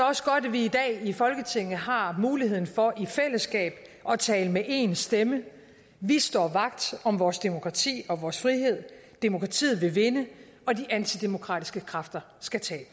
også godt at vi i dag i folketinget har muligheden for i fællesskab at tale med én stemme vi står vagt om vores demokrati og vores frihed demokratiet vil vinde og de antidemokratiske kræfter skal tabe